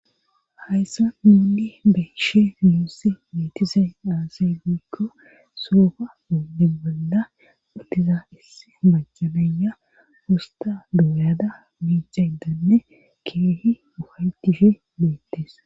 hayssa muudi beshe muussi mietisey aasay giikko soofa moonde bolla uttiza isse macanaya fosta dooyada miicadanne keehi ufaytishe beettes